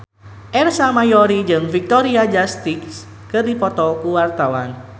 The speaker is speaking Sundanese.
Ersa Mayori jeung Victoria Justice keur dipoto ku wartawan